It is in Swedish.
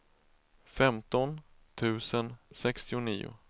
femton tusen sextionio